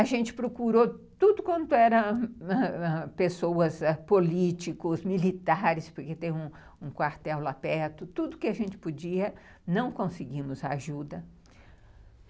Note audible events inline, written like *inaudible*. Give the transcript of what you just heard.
A gente procurou tudo quanto era *unintelligible* pessoas políticos, militares, porque tem um quartel lá perto, tudo que a gente podia, não conseguimos a ajuda.